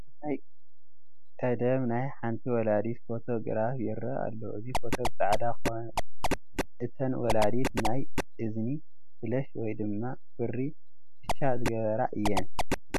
ናይ ቀደም ናይ ሓንቲ ወላዲት ፎቶ ግራፍ ይረአ ኣሎ፡፡ እዚ ፎቶ ብፃዕዳ ኮይኑ እተን ወላዲት ናይ እዝኒ ፍለሽ ወይ ድማ ብሪ ኩትሻ ዝገበራ እየን፡፡